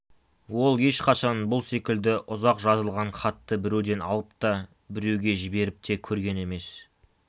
ол ешқашан бұл секілді ұзақ жазылған хатты біреуден алып та біреуге жіберіп те көрген емес